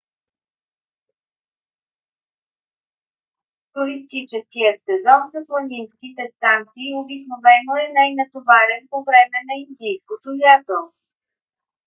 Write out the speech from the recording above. туристическият сезон за планинските станции обикновено е най-натоварен по време на индийското лято